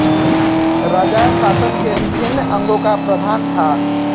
राजा शासन के विभिन्न अंगों का प्रधान था